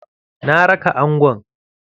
Na raka angon.